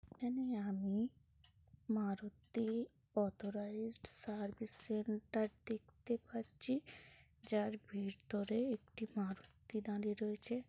এখানে আমি Maruti authorised service centre দেখতে পাচ্ছি যার ভেতরে একটি মারুতি দাঁড়িয়ে রয়েছে।